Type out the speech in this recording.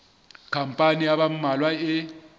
khampani ya ba mmalwa e